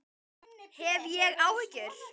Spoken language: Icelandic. Hef ég áhyggjur?